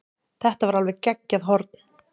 Þetta var alveg geggjað horn.